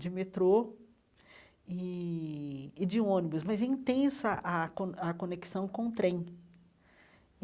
de metrô e e de ônibus, mas é intensa a con a conexão com o trem.